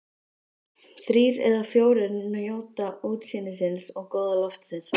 Þrír eða fjórir njóta útsýnisins og góða loftsins.